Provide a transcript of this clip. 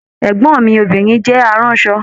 Ẹgbọn mi obìnrin jẹ àrànsọ.